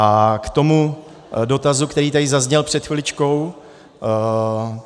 A k tomu dotazu, který tady zazněl před chviličkou.